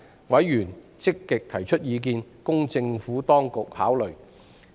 委員積極提出意見，供政府當局考慮。